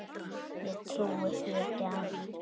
Ég trúi því ekki enn.